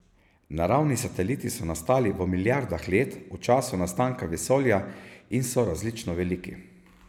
Naravni sateliti so nastali v milijardah let v času nastanka vesolja in so različno veliki.